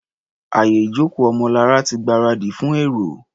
Àyè ìjókòó Ọmọlará ti gbáradì fún èrò.